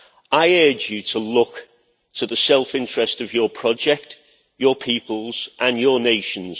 I urge you to look to the self interest of your project, your peoples and your nations.